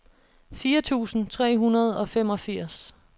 fire tusind tre hundrede og femogfirs